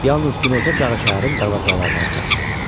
Yalnız günorta çağı şəhərin darvazalarına çatdı.